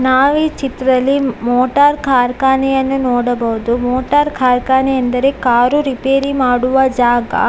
ನಾವೀ ಚಿತ್ರದಲ್ಲಿ ಮೋಟಾರ್‌ ಕಾರ್ಖಾನೆಯನ್ನು ನೋಡಬಹುದು. ಮೋಟಾರ್‌ ಕಾರ್ಖಾನೆ ಎಂದರೆ ಕಾರು ರಿಪೇರಿ ಮಾಡುವ ಜಾಗ.